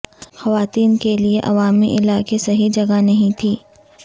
خواتین کے لئے عوامی علاقے صحیح جگہ نہیں تھی